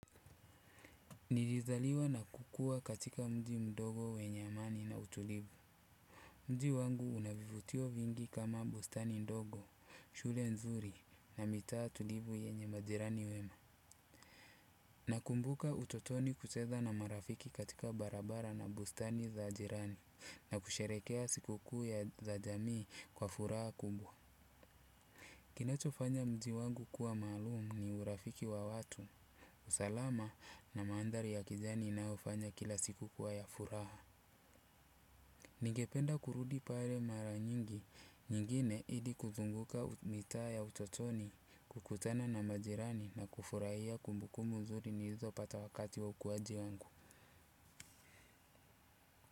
Nilizaliwa na kukua katika mji mdogo wenye amani na utulivu. Mji wangu unavivutio vingi kama bustani ndogo, shule nzuri na mitaa tulivu yenye majirani wema. Nakumbuka utotoni kucheza na marafiki katika barabara na bustani za jirani na kusherekea sikukuu ya za jamii kwa furaha kubwa. Kinachofanya mji wangu kuwa maalumu ni urafiki wa watu, usalama na mandhari ya kijani inaofanya kila siku kuwa ya furaha. Nigependa kurudi pale mara nyingi, nyingine ili kuzunguka mitaa ya utotoni, kukutana na majirani na kufurahia kumbukumbu mzuri nilizopata wakati wa ukuwaji wangu.